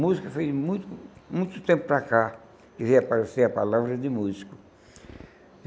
Música foi de muito muito tempo para cá que reapareceu a palavra de músico.